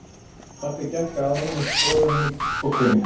Pabbi gekk að honum og skoðaði hann í krók og kring.